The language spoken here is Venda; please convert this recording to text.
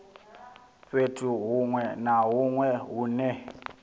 fhethu huṅwe na huṅwe hune